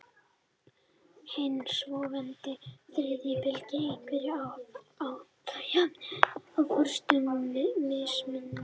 Hin svonefnda þriðja bylgja einkennist af áherslu á jafnrétti á forsendum mismunar.